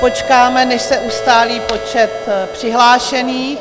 Počkáme, než se ustálí počet přihlášených.